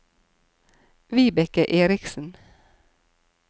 Vibeke Erichsen